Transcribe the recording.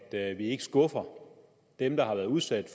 det er at vi ikke skuffer dem der har været udsat